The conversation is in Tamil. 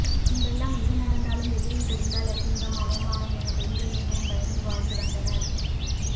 முன்பெல்லாம் எது நடந்தாலும் வெளியில் தெரிந்தால் அசிங்கம் அவமானம் என பெண்கள் மிகவும் பயந்து வாழ்ந்து வந்தனர்